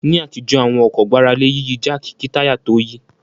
Ní àtijọ́ àwọn ọkọ̀ gbára lé Yíyí jáàkì kí táyà tó yí